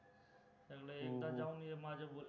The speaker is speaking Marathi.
एकदा जाऊन ये माझ्या बोलण्या